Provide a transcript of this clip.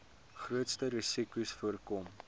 grootste risikos voorkom